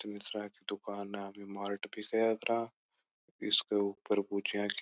दुकान ने मार्ट भी कहा करा इसके ऊपर भुजिया की --